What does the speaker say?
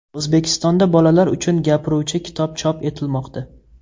O‘zbekistonda bolalar uchun gapiruvchi kitob chop etilmoqda.